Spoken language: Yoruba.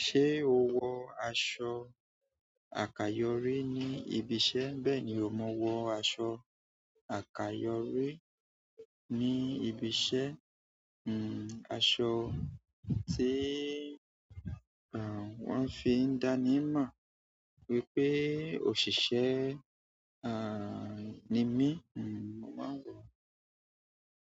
Ṣé o wọ aṣọ àkayọ̀ri ní ibi iṣẹ́? Bẹ́ẹ̀ni, mo wọ aṣọ àkayọ̀ri ní ibi iṣẹ́, hmm aṣọ tí àń wọ́n fi ń dani mọ̀ wípé òṣìṣẹ́ àń ni mí, hmm mo má ń wọ.